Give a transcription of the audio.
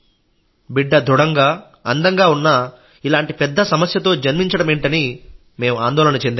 బిడ్డ దృఢంగా అందంగా ఉన్నా ఇలాంటి పెద్ద సమస్యతో జన్మించడమేంటని మేం ఆందోళన చెందాం